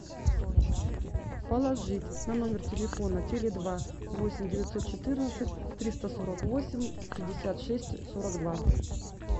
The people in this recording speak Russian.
положить на номер телефона теле два восемь девятьсот четырнадцать триста сорок восемь пятьдесят шесть сорок два